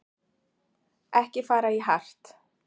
Ekki fara í hart